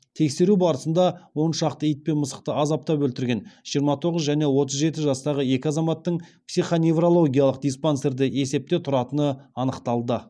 тексеру барысында он шақты ит пен мысықты азаптап өлтірген жиырма тоғыз жәнеотыз жеті жастағы екі азаматтың психоневрологиялық диспансерде есепте тұратыны анықталды